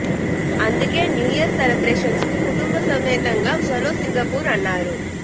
అందుకే new year celebrations కు కుటుంబ సమేతంగా ఛలో సింగపూర్ అన్నారు